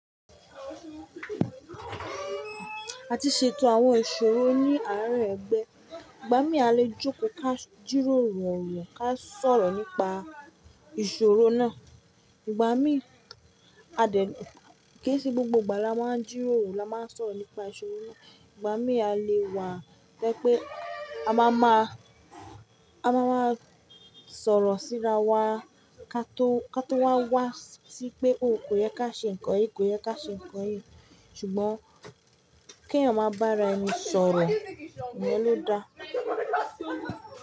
Àti ṣètò àwọn ìṣòro ní àárín ẹgbẹ́. Ìgbà mí a lè jókòó ka jíròrò ọ̀rọ̀ ka sọ̀rọ̀ nípa ìṣòro náà. Ìgbà mí a dẹ̀, kì í ṣe gbogbo ìgbà la máa ń jíròrò la máa ń sọ̀rọ̀ nípa ìṣòro náà. Ìgbà mí a lè wà to je pé a máa máa, a máa máa sọ̀rọ̀ síra wa kató, kató wa wá sí pé ò kò yẹ ká ṣe ǹkan yìí, kò yẹ ká ṣe ǹkan yìí. Ṣùgbọ́n kí ẹ̀yan máa bára ẹni sọ̀rọ̀, iyen lo da.